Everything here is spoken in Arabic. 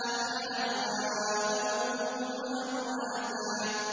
أَحْيَاءً وَأَمْوَاتًا